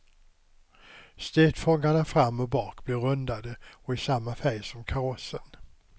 Stötfångarna fram och bak blir rundade och i samma färg som karossen.